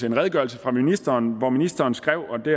en redegørelse fra ministeren hvor ministeren skrev og det